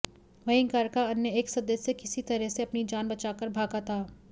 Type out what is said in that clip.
वहीं घर का अन्य एक सदस्य किसी तरह से अपनी जान बचाकर भागा था